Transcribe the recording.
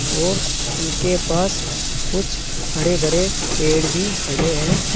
और उनके पास कुछ हरे भरे पेड़ भी खड़े है।